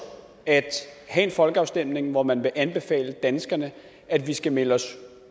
at have en folkeafstemning hvor man vil anbefale danskerne at vi skal melde os